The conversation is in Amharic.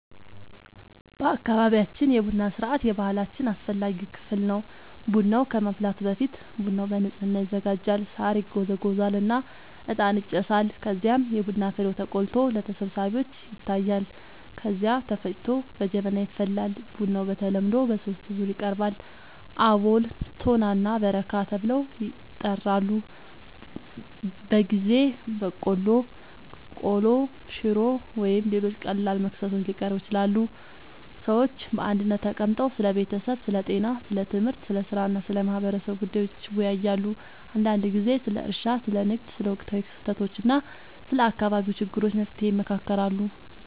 በአካባቢያችን የቡና ሥርዓት የባህላችን አስፈላጊ ክፍል ነው። ቡናው ከመፍላቱ በፊት ቦታው በንጽህና ይዘጋጃል፣ ሳር ይጎዘጎዛል እና እጣን ይጨሳል። ከዚያም የቡና ፍሬው ተቆልቶ ለተሰብሳቢዎች ይታያል፣ ከዚያ ተፈጭቶ በጀበና ይፈላል። ቡናው በተለምዶ በሦስት ዙር ይቀርባል፤ አቦል፣ ቶና እና በረካ ተብለው ይጠራሉበ ጊዜ በቆሎ፣ ቆሎ፣ ሽሮ ወይም ሌሎች ቀላል መክሰሶች ሊቀርቡ ይችላሉ። ሰዎች በአንድነት ተቀምጠው ስለ ቤተሰብ፣ ስለ ጤና፣ ስለ ትምህርት፣ ስለ ሥራ እና ስለ ማህበረሰቡ ጉዳዮች ይወያያሉ። አንዳንድ ጊዜ ስለ እርሻ፣ ስለ ንግድ፣ ስለ ወቅታዊ ክስተቶች እና ስለ አካባቢው ችግሮች መፍትሔ ይመካከራሉ